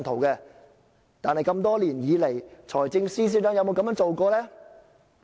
但是，多年來，財政司司長有否這樣做過？